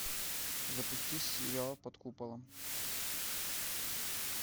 запусти сериал под куполом